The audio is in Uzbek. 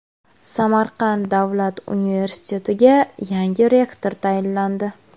Samarqand davlat universitetiga yangi rektor tayinlandi.